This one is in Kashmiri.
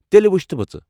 تیٚلہِ وُچھتھ بہٕ ژٕ ۔